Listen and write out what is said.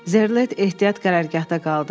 Zerlet ehtiyat qərargahda qaldı.